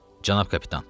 Cənab kapitan.